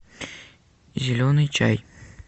зеленый чай